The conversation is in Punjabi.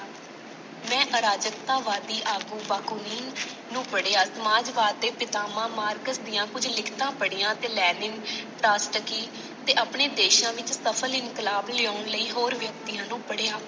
ਮੈਂ ਅਰਾਜਕਤਾ ਵਾਦੀ ਆਗੂ ਨੂੰ ਪੜ੍ਹਿਆ। ਸਮਾਜਵਾਦ ਦੇ ਸਿਧਵਾਂ ਮਾਰਕਸ ਦੀਆਂ ਕੁੱਝ ਲਿਖਤਾਂ ਪੜੀਆਂ ਤੇ ਤੇ ਆਪਣੇ ਦੇਸ਼ਾਂ ਵਿੱਚ ਸਫ਼ਲ ਇਨਕਲਾਬ ਲਿਆਉਣ ਲਈ ਹੋਰ ਵਿਅਕਤੀਆਂ ਨੂੰ ਪੜ੍ਹਿਆ।